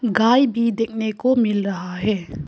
गाय भी देखने को मिल रहा है।